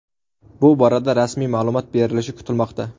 Bu borada rasmiy ma’lumot berilishi kutilmoqda.